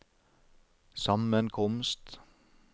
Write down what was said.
sammenkomst